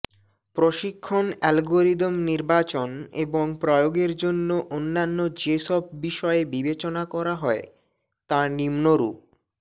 প্রশিক্ষণ অ্যালগরিদম নির্বাচন এবং প্রয়োগের জন্য অন্যান্য যেসব বিষয় বিবেচনা করা হয় তা নিম্নরূপ